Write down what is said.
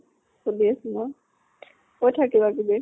সুধি আছো ৰ। কৈ থাক কিবা কিবি।